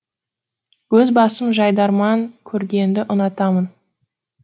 өз басым жайдарман көргенді ұнатамын